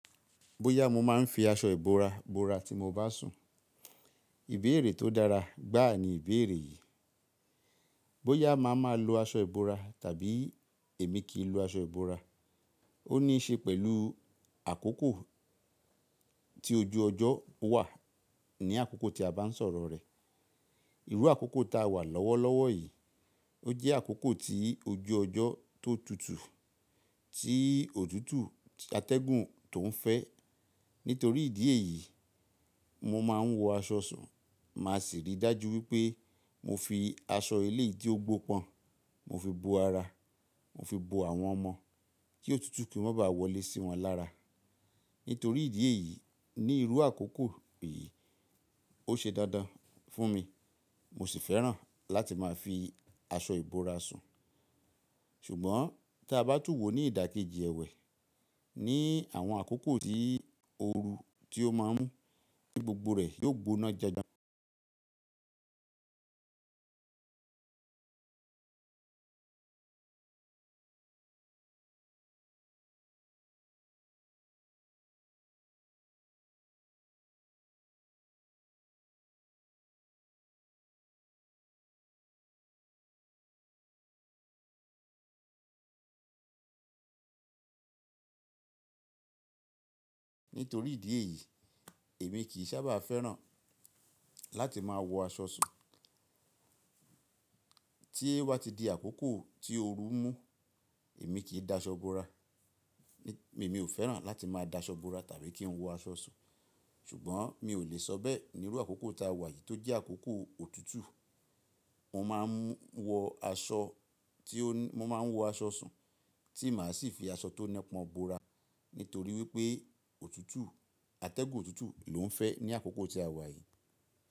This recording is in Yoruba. Bóyá mo máa ń fi aṣọ ìbora bora tí mo bá sùn, ìbéèrè tó dára gbáà ni ìbéèrè yìí. Bóyá màá máa lo aṣọ ìbora tàbí èmi kì í lo aṣọ ìbora, ó níí ṣe pẹ̀lú àkókò tí ojú ọjọ́ wà ní àkókò tí a bá ń sọ̀rọ̀ rẹ̀. Irú àkókò ta wà lọ́wọ́lọ́wọ́ yìí, ó jẹ́ àkókò tí ojú ọjọ́ tó tutù, tí òtútù, tí atẹ́gùn tó ń fẹ́. Nítorí ìdí èyí, mo máa ń wọ aṣọ sùn, màá sì rí i dájú wípé mo fi aṣọ ilé tí ó gbó pọn, mo fi bo ara, mo fi bo àwọn ọmọ kí òtútù kì í má ba à wọlé sí wọn lára. Nítorí ìdí èyí, ní irú àkókò yìí, ó ṣe dandan fún mi, mo sì fẹ́ràn láti máa fi aṣọ ìbora sùn. Ṣùgbọ́n tí a bá tún wò ní ìdakeji ẹ̀wẹ̀, ní àwọn àkókò tí ooru tí ó má ń mú, tí gbogbo rẹ̀ yóò gbóná janjan. Nítorí ìdí èyí, èmi kì í sábà fẹ́ràn láti máa wọ aṣọ sùn. Tí o bá ti di àkókò tí ooru mú, èmi kì í da aṣọ bora. Èmi ò fẹ́ràn láti máa da aṣọ bora tàbí kí n wọ aṣọ sùn. Ṣùgbọ́n mi ò le sọ bẹ́ẹ̀ ní irú àkókò ta wà yìí tó jẹ́ àkókò òtútù. Mo máa ń wọ aṣọ tí ó, mo máa ń wọ aṣọ sùn tí màá sì fi aṣọ tó nẹ́pọn bora, nítorí wípé òtútù atẹ́gùn òtútù lò ń fẹ́ ní àkókò tí a wà yìí.